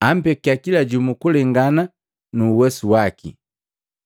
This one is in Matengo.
Ampekia kila jumu kulengana nu uwesu waki,